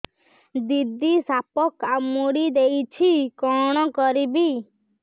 ଦିଦି ସାପ କାମୁଡି ଦେଇଛି କଣ କରିବି